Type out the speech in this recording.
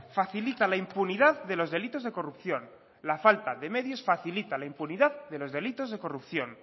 facilita la impunidad de los delitos de corrupción la falta de medios facilita la impunidad de los delitos de corrupción